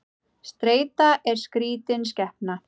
Streita er skrítin skepna.